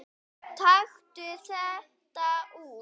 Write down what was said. Taktu þetta út